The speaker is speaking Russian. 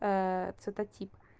цветотип